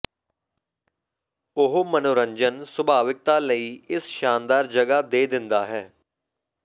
ਉਹ ਮਨੋਰੰਜਨ ਸੁਭਾਵਿਕਤਾ ਲਈ ਇਸ ਸ਼ਾਨਦਾਰ ਜਗ੍ਹਾ ਦੇ ਦਿੰਦਾ ਹੈ